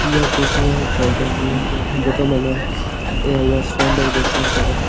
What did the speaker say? यह फोटो है फॉउन्टेन की जका में है ने ए हुए सौंदर्य दर्शन खातर --